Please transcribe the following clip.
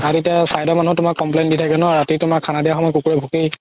আৰু তাতে চাৰিতা মানত complain দি থাকে ন ৰাতি তুমাৰ খানা দিয়াৰ সময়ত কুকুৰে ভুকেই